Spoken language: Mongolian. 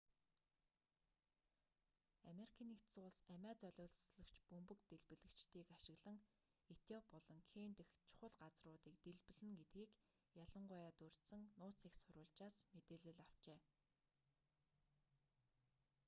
ану амиа золиослогч бөмбөг дэлбэлэгчдийг ашиглан этиоп болон кени дэх чухал газар”-уудыг дэлбэлнэ гэдгийг ялангуяа дурьдсан нууц эх сурвалжаас мэдээлэл авчээ